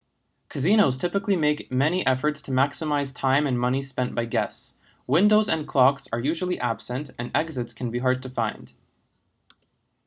casinos typically make many efforts to maximize time and money spent by guests windows and clocks are usually absent and exits can be hard to find